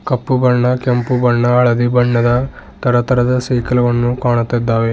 ಕಪ್ಪು ಬಣ್ಣ ಕೆಂಪು ಬಣ್ಣ ಹಳದಿ ಬಣ್ಣದ ತರತರದ ಸೈಕಲ್ವನ್ನು ಕಾಣುತ್ತಿದ್ದಾವೆ.